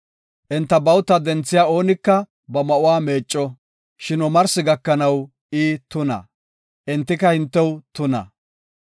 Enta bawuta denthiya oonika ba ma7uwa meecco; shin omarsi gakanaw I tuna. Entika hintew tuna.